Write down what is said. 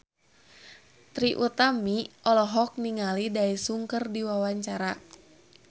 Trie Utami olohok ningali Daesung keur diwawancara